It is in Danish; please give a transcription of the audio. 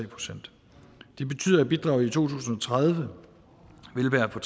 procent det betyder at bidraget i to tusind og tredive vil være på